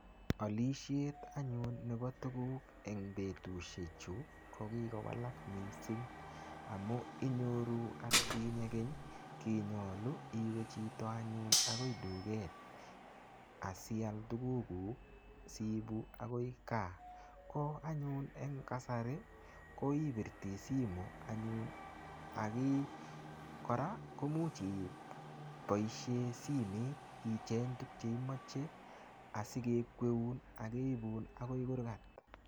Olishet anyun nebo tukuk eng' betushechu ko kikowalak mising' amu inyoru atkinye keny kinyolu iwe chito anyun akoi duket asial tukukuk siibu akoi kaa ko anyun eng' kasari ko ipirti simu anyun kora ko muuch iboishe simet icheny tukche imoche asikekweun akeibun akoi kurkat